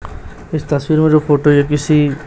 इस तस्वीर में जो फोटो है ये किसी--